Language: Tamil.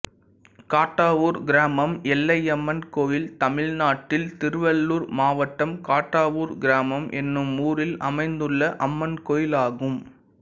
காட்டாவூர் கிராமம் எல்லையம்மன் கோயில் தமிழ்நாட்டில் திருவள்ளூர் மாவட்டம் காட்டாவூர் கிராமம் என்னும் ஊரில் அமைந்துள்ள அம்மன் கோயிலாகும்